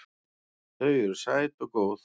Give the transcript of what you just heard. Þau eru sæt og góð.